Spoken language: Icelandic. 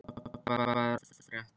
Sveppi, hvað er að frétta?